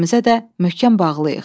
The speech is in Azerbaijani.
Bir-birimizə də möhkəm bağlıyıq.